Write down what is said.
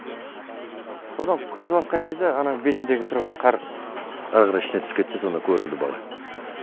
содан қазып жатқан кезде ананың бетіндегі тұрған қар әрі қарай ішіне түсіп кетті де сонда көрінді бала